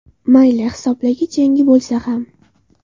Mayli, hisoblagich yangi bo‘lsa ham.